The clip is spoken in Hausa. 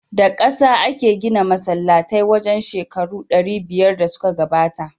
Da kasa ake gina masallatai wajen shekaru ɗari biyar da suka gabata.